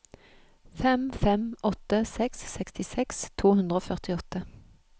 fem fem åtte seks sekstiseks to hundre og førtiåtte